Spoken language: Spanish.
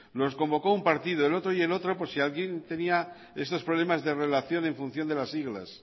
los convocó un partido el otro y el otro por si alguien tenía estos problemas de relación en función de las siglas